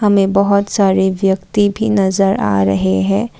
हमें बहुत सारे व्यक्ति भी नज़र आ रहे हैं।